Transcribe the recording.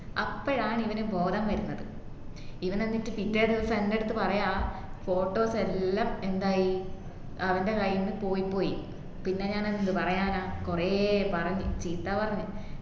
അപ്പോഴാണ് ഇവന് ബോധം വരുന്നത് ഇവനെന്നിട്ട് പിറ്റേ ദിവസം എന്റെയടുത്ത് പറയുവാ photos എല്ലാം എന്തായി അവന്റെ കയ്യിന്നു പോയിപ്പോയി പിന്നെ ഞാൻ എന്ത് പറയാനാ കൊറേ പറഞ്‍ ചീത്ത പറഞ്‍